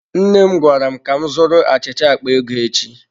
Nne m gwara m ka m zụrụ achịcha akpa ego echi.